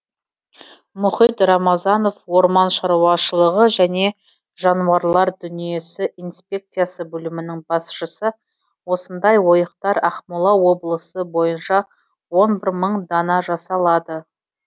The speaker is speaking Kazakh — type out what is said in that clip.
мұхит рамазанов орман шаруашылығы және жануарлар дүниесі инспекциясы бөлімінің басшысы осындай ойықтар ақмола облысы бойынша он бір мың дана жасалады